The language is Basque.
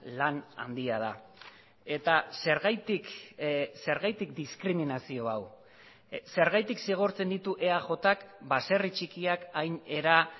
lan handia da eta zergatik zergatik diskriminazio hau zergatik zigortzen ditu eajk baserri txikiak hain era